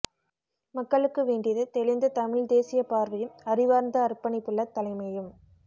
மக்களுக்கு வேண்டியது தெளிந்த தமிழ்த் தேசியப் பார்வையும் அறிவார்ந்த அர்ப்பணிப்புள்ள தலைமையும்